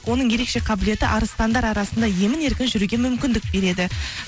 оның ерекше қабілеті арыстандар арасында емін еркін жүруге мүмкіндік береді